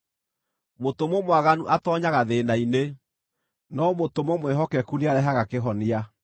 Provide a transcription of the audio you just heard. Mũtũmwo mwaganu atoonyaga thĩĩna-inĩ, no mũtũmwo mwĩhokeku nĩarehaga kĩhonia.